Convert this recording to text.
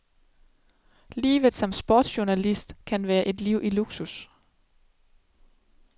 Livet som sportsjournalist kan være et liv i luksus.